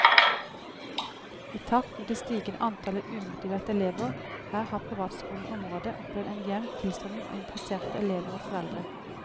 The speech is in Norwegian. I takt med det stigende antallet umotiverte elever her har privatskolen i området opplevd en jevn tilstrømning av interesserte elever og foreldre.